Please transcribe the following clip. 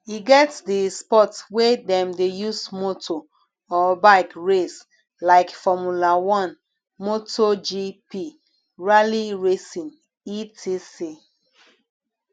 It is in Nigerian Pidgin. e get di sport wey dem de use motor or bike race like formula 1 motor gp rally racing etc